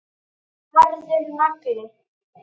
Harður nagli.